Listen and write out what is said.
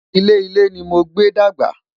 ilé ilé ní mogbe dàgbà